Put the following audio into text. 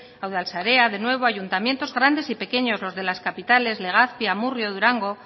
a udalsarea de nuevo ayuntamientos grandes y pequeños los de las capitales legazpi amurrio durango